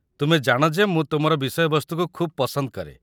ତୁମେ ଜାଣ ଯେ ମୁଁ ତୁମର ବିଷୟବସ୍ତୁକୁ ଖୁବ୍ ପସନ୍ଦ କରେ।